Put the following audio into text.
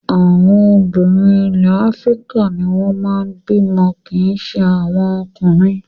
Àwọn obìnrin ilẹ̀ Áfíríkà ni wọ́n máa ń bímọ kì í ṣe àwọn ọkùnrin.